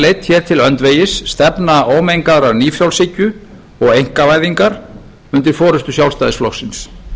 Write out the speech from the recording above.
leidd hér til öndvegis stefna ómengaðrar nýfrjálshyggju og einkavæðingar undir forustu sjálfstæðisflokksins